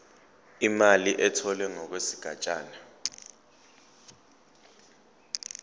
imali etholwe ngokwesigatshana